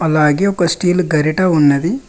అలాగే ఒక స్టీల్ గరిట ఉన్నది.